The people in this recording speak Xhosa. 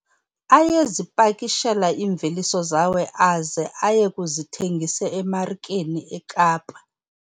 Ayezipakishela iimveliso zawo aze aye kuzithengisa emarikeni yaseKapa.